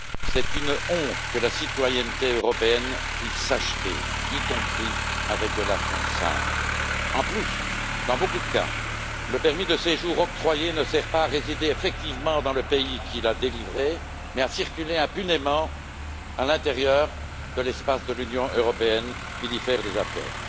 C'est une honte que la citoyenneté européenne puisse s'acheter, y compris avec de l'argent sale. En plus, dans de nombreux cas, le permis de séjour octroyé ne sert pas à résider effectivement dans le pays qui l'a délivré, mais à circuler impunément à l'intérieur de l'Union européenne et d'y faire des affaires.